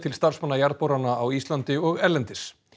starfsmanna jarðborana á Íslandi og erlendis